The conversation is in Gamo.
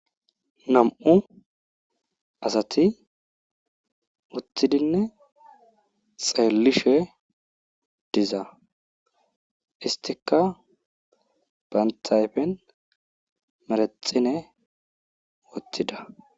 Nam77u asati uttidinne xeellishe diza isttikka bantta ayfen menexxine wothida.